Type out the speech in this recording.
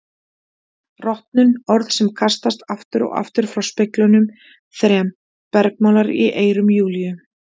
Rotnun, orð sem kastast aftur og aftur frá speglunum þrem, bergmálar í eyrum Júlíu.